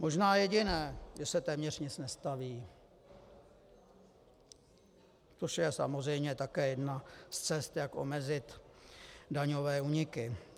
Možná jediné: že se téměř nic nestaví, což je samozřejmě také jedna z cest, jak omezit daňové úniky.